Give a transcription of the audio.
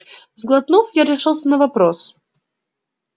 сглотнув я решился на вопрос